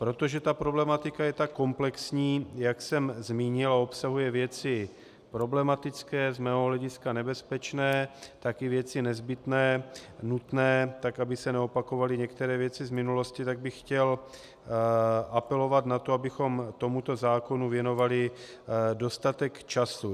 Protože ta problematika je tak komplexní, jak jsem zmínil, a obsahuje věci problematické, z mého hlediska nebezpečné, tak i věci nezbytné, nutné, tak aby se neopakovaly některé věci z minulosti, tak bych chtěl apelovat na to, abychom tomuto zákonu věnovali dostatek času.